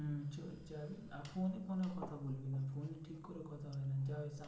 যা ওইখানে